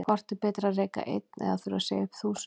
Hvort er betra að reka einn eða þurfa að segja upp þúsund?